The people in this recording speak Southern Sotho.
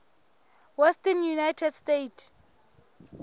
western united states